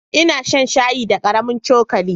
Ina shan shayi da karamin cokali.